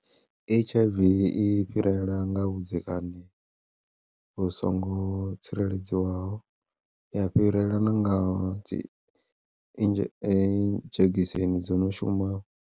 H_I_V i fhirela nga vhudzekani vhu songo tsireledziwaho, ya fhirela na nga dzi idzhe dzhegiseni dzo no shumaho.